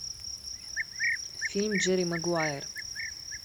фильм джерри магуайер